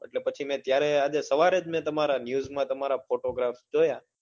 એટલે પછી મેં ત્યારે સવારે જ તમારા news માં તમારા photographs જોયા